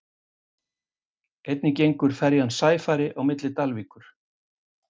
einnig gengur ferjan sæfari á milli dalvíkur